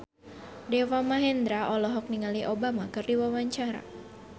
Deva Mahendra olohok ningali Obama keur diwawancara